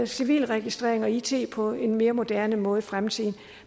civilregistrering og it på en mere moderne måde i fremtiden